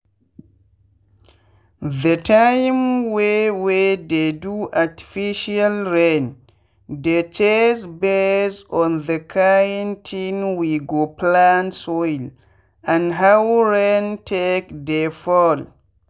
the time wey we dey do artificial rain dey chase base on the kind thing we go plant soil and how rain take dey fall.